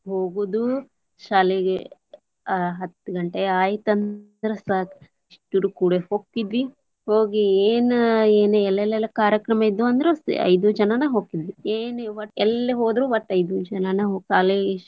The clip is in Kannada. ಹೊಗುದು ಶಾಲಿಗೆ ಅ ಹತ್ ಗಂಟೆ ಆಯಿತಂದ್ರ ಸಾಕ್ ಇಷ್ಟುರು ಕುಡೆ ಹೊಕ್ಕಿದ್ವಿ, ಹೋಗಿ ಏನ ಎಲ್ಲೆಲ್ಲೆ ಕಾರ್ಯಕ್ರಮ ಇದ್ವು ಅಂದ್ರು ಐದು ಜನಾನ ಹೋಗತಿದ್ವಿ, ಏನ್ ವಟ್ಟ ಎಲ್ಲಿ ಹೊದ್ರು ವಟ್ಟ ಐದು ಜನಾನ .